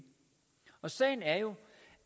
sagen er jo